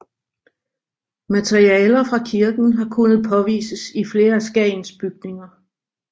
Materialer fra kirken har kunnet påvises i flere af Skagens bygninger